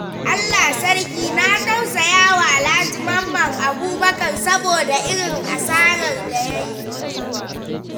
Allah Sarki! Na tausaya wa Alhaji Mamman Abubakar saboda irin asarar da ya yi.